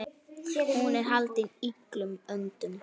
Hún er haldin illum öndum.